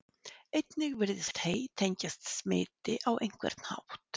Einnig virðist hey tengjast smiti á einhvern hátt.